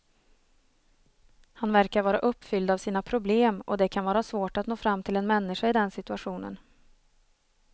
Han verkar vara uppfylld av sina problem och det kan vara svårt att nå fram till en människa i den situationen.